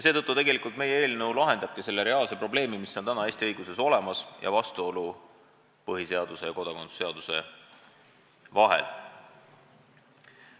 Meie eelnõu eesmärk ongi lahendada see probleem, mis praegu Eesti õiguses reaalselt olemas on, vastuolu põhiseaduse ja kodakondsuse seaduse vahel.